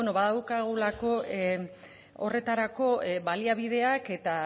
badaukagulako horretarako baliabideak eta